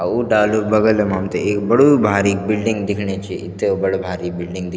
अ ऊ डाल्युं क बगल मा हमथे एक बडू भारीक बिल्डिंग दिखणी च इत्ते बडो भारिक बिल्डिंग दिख --